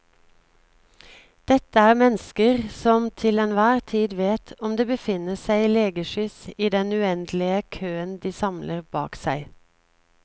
Dette er mennesker som til enhver tid vet om det befinner seg legeskyss i den uendelige køen de samler bak seg.